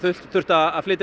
þurfti að flytja